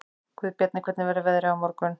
Guðbjarni, hvernig verður veðrið á morgun?